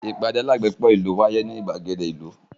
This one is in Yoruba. Ìpàdé alágbépọ̀ ìlú náà wáyé ní ìgbàgede ìlú